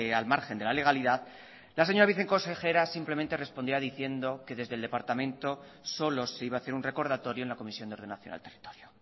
al margen de la legalidad la señora viceconsejera simplemente respondía diciendo que desde el departamento solo se iba a hacer un recordatorio en la comisión de ordenación al territorio